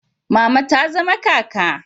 Mama ta zama kaka